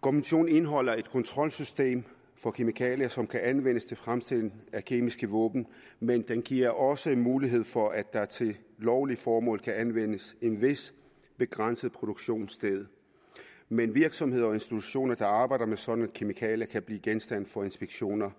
konventionen indeholder et kontrolsystem for kemikalier som kan anvendes til fremstilling af kemiske våben men den giver også mulighed for at der til lovlige formål kan anvendes en vis begrænset produktionsdel men virksomheder og institutioner der arbejder med sådanne kemikalier kan blive genstand for inspektioner